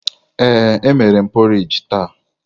Ee, emere m porridge taa.